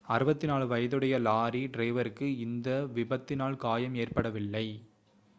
64 வயதுடைய லாரி டிரைவருக்கு இந்த விபத்தினால் காயம் ஏற்படவில்லை